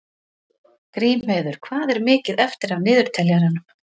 Grímheiður, hvað er mikið eftir af niðurteljaranum?